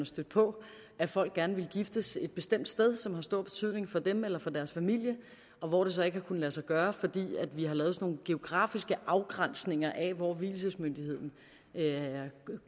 stødt på at folk gerne vil giftes et bestemt sted som har stor betydning for dem eller deres familie og hvor det så ikke har kunnet lade sig gøre fordi vi har lavet sådan geografiske afgrænsninger af hvor vielsesmyndigheden